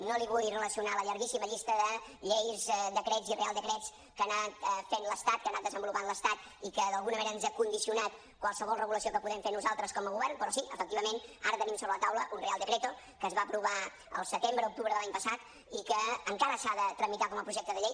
no li vull relacionar la llarguíssima llista de lleis decrets i reial decrets que ha anat fent l’estat que ha anat desenvolupant l’estat i que d’alguna manera ens ha condicionat qualsevol regulació que podem fer nosaltres com a govern però sí efectivament ara tenim sobre la taula un real decreto que es va aprovar el setembre octubre de l’any passat i que encara s’ha de tramitar com a projecte de llei